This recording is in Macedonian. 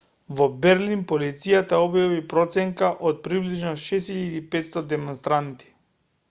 во берлин полицијата објави проценка од приближно 6.500 демонстранти